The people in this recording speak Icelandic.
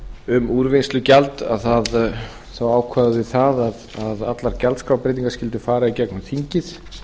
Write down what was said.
um úrvinnslugjald þá ákváðum við það að allar gjaldskrárbreytingar skyldu fara í gegnum þingið